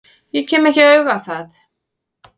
Ég kem ekki auga á það.